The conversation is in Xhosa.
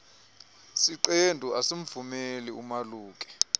siqendu asimvumeli umaluki